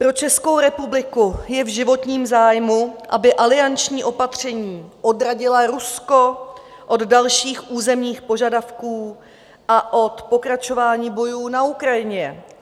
Pro Českou republiku je v životním zájmu, aby alianční opatření odradila Rusko od dalších územních požadavků a od pokračování bojů na Ukrajině.